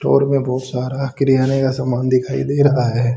Road में बहुत सारा किरयाने का सामान दिखाई दे रहा है।